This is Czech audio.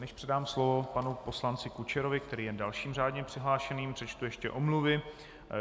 Než předám slovo panu poslanci Kučerovi, který je dalším řádně přihlášeným, přečtu ještě omluvy.